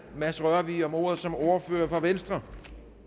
mads rørvig om ordet som ordfører for venstre